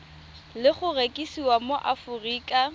le go rekisiwa mo aforika